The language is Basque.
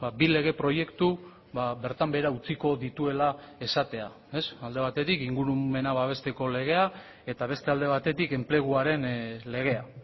bi lege proiektu bertan behera utziko dituela esatea alde batetik ingurumena babesteko legea eta beste alde batetik enpleguaren legea